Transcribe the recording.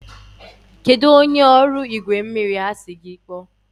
kedụ onye ọrụ igwe mmiri a sị gị kpọọ?